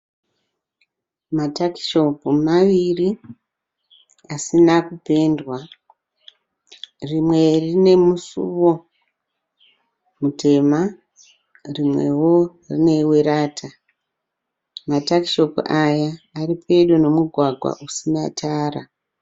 Matakishopu maviri asina kupendwa rimwe rine musuwo mutema rimwewo werata, matakishopu aya ari pedo nemugwagwa usina tara.